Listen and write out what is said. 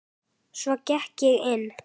Svo gekk ég inn.